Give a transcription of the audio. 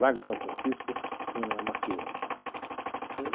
Largo de São Francisco, venho na Mackenzie.